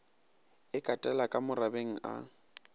e katela ka morabeng a